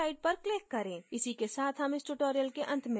इसी के साथ हम इस tutorial के अंत में पहुँच गए हैं